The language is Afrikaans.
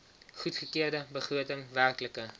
goedgekeurde begroting werklike